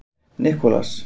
Nicolas